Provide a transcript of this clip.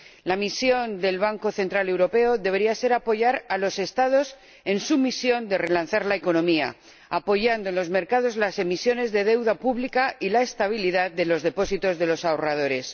La misión del Banco Central Europeo debería ser apoyar a los Estados en su misión de relanzar la economía, apoyando en los mercados las emisiones de deuda pública y la estabilidad de los depósitos de los ahorradores.